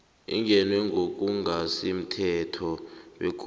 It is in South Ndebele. ingenwe ngokungasimthetho begodu